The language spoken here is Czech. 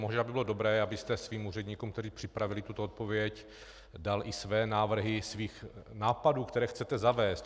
Možná by bylo dobré, abyste svým úředníkům, kteří připravili tuto odpověď, dal i své návrhy svých nápadů, které chcete zavést.